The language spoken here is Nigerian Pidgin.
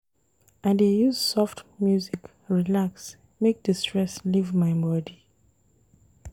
I dey use soft music relax make di stress leave my bodi.